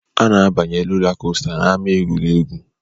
A na-abanye rolakọsta n'ámá egwuregwu